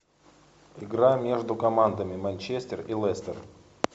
игра между командами манчестер и лестер